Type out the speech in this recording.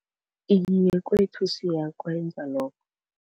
Iye kwethu siyakwenza lokho.